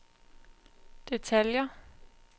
detaljer